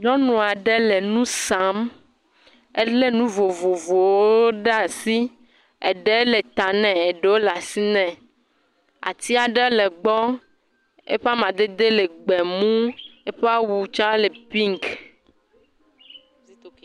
Nyɔnua ɖe le nu sam. Ele nu vovovowo ɖe asi. Eɖe le ta nɛ eɖowo le asi nɛ. Atia ɖe le gbɔ. Eƒe amadede le gbemu. Eƒe awu tsa le piki.